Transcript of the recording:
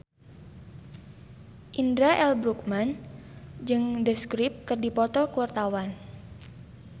Indra L. Bruggman jeung The Script keur dipoto ku wartawan